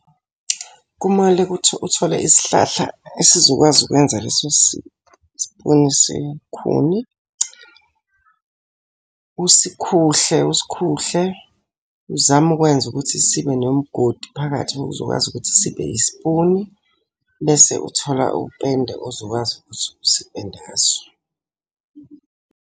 Kumele ukuthi uthole isihlahla esizokwazi ukwenza leso sipuni sekhuni. Usikhuhle usikhuhle, uzame ukwenza ukuthi sibe nomgodi phakathi uzokwazi ukuthi sibe yisipuni. Bese uthola upende ozokwazi ukuthi usipende ngaso.